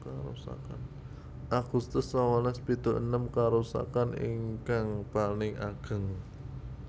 Agustus sangalas pitu enem Karusakaan ingkang paling ageng